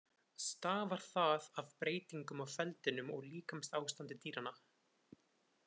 Stafar það af breytingum á feldinum og líkamsástandi dýranna.